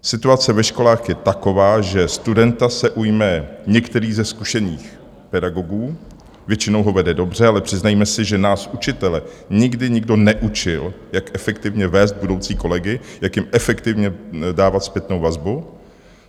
Situace ve školách je taková, že studenta se ujme některý ze zkušených pedagogů, většinou ho vede dobře, ale přiznejme si, že nás učitele nikdy nikdo neučil, jak efektivně vést budoucí kolegy, jak jim efektivně dávat zpětnou vazbu.